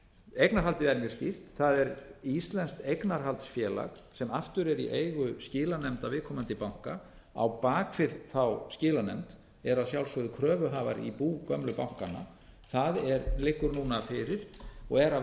eignarhaldið er mjög skýrt það er íslenskt eignarhaldsfélag sem aftur er í eigu skilanefnda viðkomandi banka á bak við skilanefndina er að sjálfsögðu kröfuhafar í bú gömlu bankanna það liggur núna fyrir og er að